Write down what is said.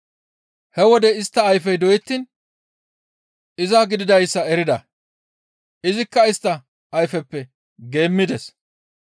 He wode istta ayfey doyettiin iza gididayssa erida; izikka istta ayfeppe geemmides.